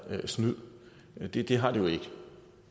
snyd det det har det jo ikke